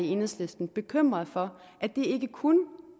i enhedslisten bekymret for at det ikke kun